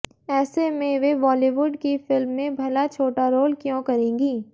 ऐसे में वे बॉलीवुड की फिल्म में भला छोटा रोल क्यों करेंगी